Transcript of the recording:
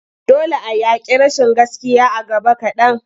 Dole a yaƙi rashin gaskiya a gaba kaɗan.